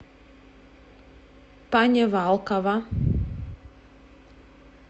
панивалкова